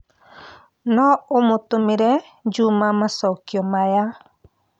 no ũmũtũmĩre Juma macokio maya